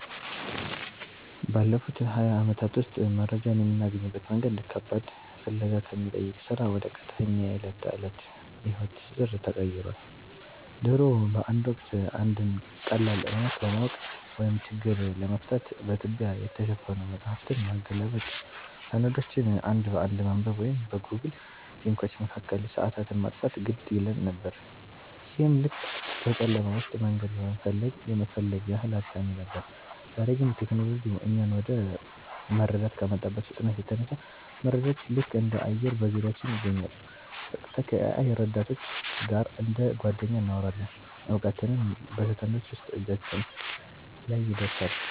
ባለፉት ሃያ ዓመታት ውስጥ መረጃን የምናገኝበት መንገድ ከባድ ፍለጋ ከሚጠይቅ ሥራ ወደ ቀጥተኛ የዕለት ተዕለት የሕይወት ትስስር ተቀይሯል። ድሮ በአንድ ወቅት፣ አንድን ቀላል እውነት ለማወቅ ወይም ችግር ለመፍታት በትቢያ የተሸፈኑ መጻሕፍትን ማገላበጥ፣ ሰነዶችን አንድ በአንድ ማንበብ ወይም በጎግል ሊንኮች መካከል ሰዓታትን ማጥፋት ግድ ይለን ነበር፤ ይህም ልክ በጨለማ ውስጥ መንገድ የመፈለግ ያህል አድካሚ ነበር። ዛሬ ግን ቴክኖሎጂው እኛን ወደ መረዳት ከመጣበት ፍጥነት የተነሳ፣ መረጃዎች ልክ እንደ አየር በዙሪያችን ይገኛሉ—በቀጥታ ከ-AI ረዳቶች ጋር እንደ ጓደኛ እናወራለን፣ እውቀትም በሰከንዶች ውስጥ እጃችን ላይ ይደርሳል።